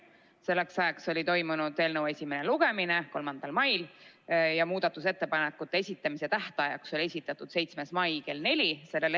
Selleks ajaks oli toimunud eelnõu esimene lugemine 3. mail ja muudatusettepanekute esitamise tähtajaks oli määratud 7. mai kell neli.